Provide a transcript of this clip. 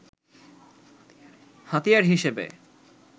হাতিয়ার হিসেবে